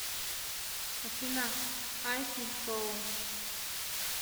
афина ай фи шоу